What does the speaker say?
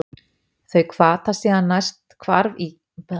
Þau hvata síðan næsta hvarf í keðjuverkuninni og svo koll af kolli.